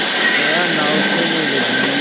जया नाव खेने लगी